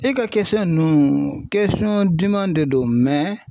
E ka ninnu duman de don